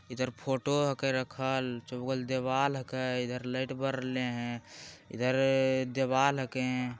इधर फोटो हके रखल चौबगल दीवार हके लाइट बर रहले है इधर दीवार हके |